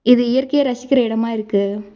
இது இயற்கைய ரசிக்கிற எடமா இருக்கு.